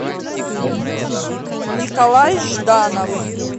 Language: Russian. николай жданов